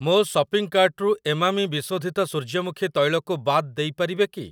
ମୋ ସପିଂ କାର୍ଟ୍‌ରୁ ଏମାମି ବିଶୋଧିତ ସୂର୍ଯ୍ୟମୁଖୀ ତୈଳ କୁ ବାଦ ଦେଇପାରିବେ କି?